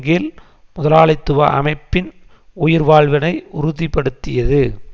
கீழ் முதலாளித்துவ அமைப்பின் உயிர்வாழ்வினை உறுதி படுத்தியது